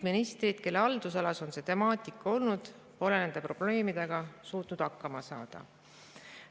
Ministrid, kelle haldusalas on see temaatika olnud, pole nende probleemidega suutnud hakkama saada.